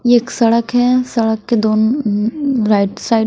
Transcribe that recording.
यह एक सड़क है सड़क के दोन राइट साइड --